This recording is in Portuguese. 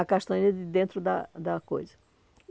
A castanha de dentro da da coisa.